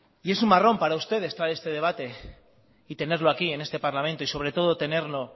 y es un marrón para ustedes traer este debate y tenerlo aquí en este parlamento y sobre todo tenerlo